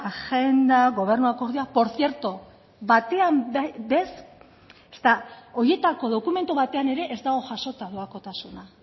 agenda gobernu akordioa por cierto batean ere ez horietako dokumentu batean ere ez dago jasota doakotasuna